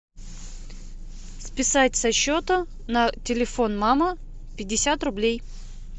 списать со счета на телефон мама пятьдесят рублей